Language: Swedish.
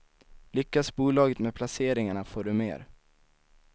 Lyckas bolaget med placeringarna får du mer.